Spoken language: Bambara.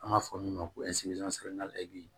An b'a fɔ min ma ko